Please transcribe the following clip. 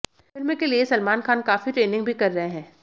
film के लिए सलमान खान काफी ट्रेनिंग भी कर रहे हैं